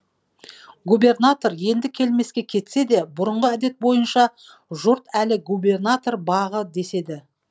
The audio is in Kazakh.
губернатор енді келмеске кетсе де бұрынғы әдет бойынша жұрт әлі губернатор бағы деседі